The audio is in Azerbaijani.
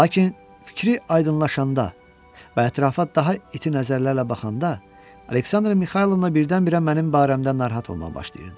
Lakin fikri aydınlaşanda və ətrafa daha iti nəzərlərlə baxanda, Aleksandr Mixaylov birdən-birə mənim barəmdə narahat olmağa başlayırdı.